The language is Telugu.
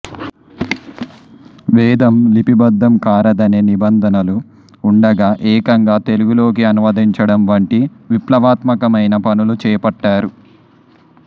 వేదం లిపిబద్ధం కారాదనే నిబంధనలు ఉండగా ఏకంగా తెలుగులోకి అనువదించడం వంటి విప్లవాత్మకమైన పనులు చేపట్టారు